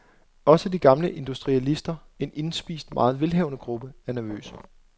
Også de gamle industrialister, en indspist, meget velhavende gruppe, er nervøse.